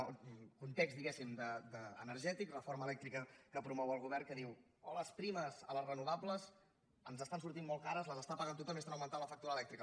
el context diguem·ne energètic reforma elèctrica que promou el govern que diu oh les primes a les renovables ens estan sortint molt cares les està pagant tothom i estan augmentant la factura elèctrica